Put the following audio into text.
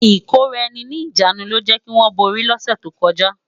Ikóráèni ni ijánú ló jè kiwòn bóri lòsè tókòjá